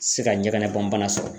Se ka ɲɛgɛnɛbɔnbana sɔrɔ.